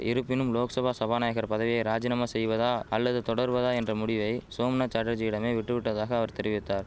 இருப்பினும் லோக்சபா சபாநாயகர் பதவியை ராஜினாமா செய்வதா அல்லது தொடர்வதா என்ற முடிவை சோம்நாத் சாட்டர்ஜியிடமே விட்டுவிட்டதாக அவர் தெரிவித்தார்